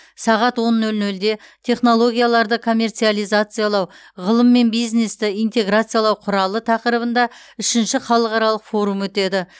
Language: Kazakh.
сағат он нөл нөлде технологияларды коммерциализациялау ғылым мен бизнесті интеграциялау құралы тақырыбында үшінші халықаралық форум өтеді